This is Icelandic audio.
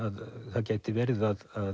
það gæti verið að